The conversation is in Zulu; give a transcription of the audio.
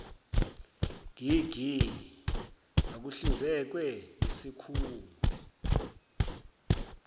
gg akuhlinzekwe ngesikhungo